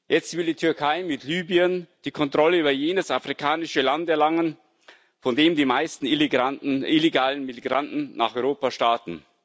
Jetzt will die Türkei mit Libyen die Kontrolle über jenes afrikanische Land erlangen, von dem die meisten illegalen Migranten nach Europa starten.